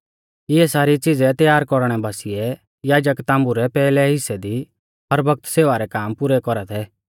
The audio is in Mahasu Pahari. इऐ सारी च़िज़ै तैयार कौरणै बासिऐ याजक ताम्बु रै पैहलै हिस्सै दी हर बौगत सेवा रै काम पुरै कौरा थै